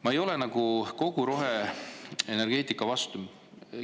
Ma ei ole kogu roheenergeetika vastu.